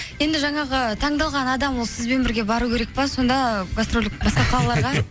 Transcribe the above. енді жаңағы таңдалған адам ол сізбен бірге бару керек пе сонда гастрольдік басқа қалаларға